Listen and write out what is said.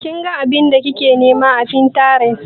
Kin ga abin da kike nima a Pinterest?